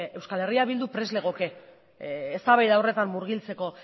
eh bildu prest legoke eztabaida horretan murgiltzeko